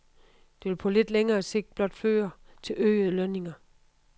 Det vil på lidt længere sigt blot føre til øgede lønninger.